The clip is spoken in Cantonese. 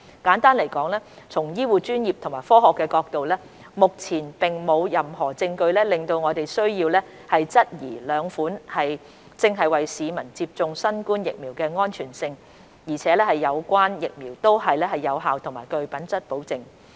簡單來說，從醫護專業及科學的角度，目前並沒有任何證據令我們需要質疑兩款正在為市民接種的新冠疫苗的安全性，而有關疫苗都是有效和具品質保證的。